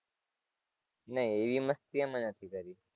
નહીં એવી મસ્તી અમે નથી કરી.